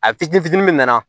A fitinin fitinin min nana